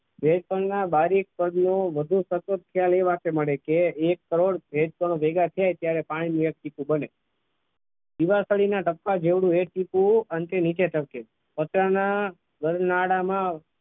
શ્વેતકણનો બારીક પગલું વધુ તબિયતથી એ વાક્ય મળે કે એક કારણ એક કણો ભેગા થાય ત્યારે પાણીનો એક ટીમ્પુ બને દીવાસળીના ટપકા જેટલું એક ટીમ્પુ અને તે નીચે ચડકે છે કચરાના નાડામાં આવતા.